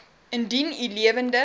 indien u lewende